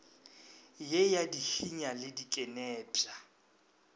ye ya dihinya le dikenepša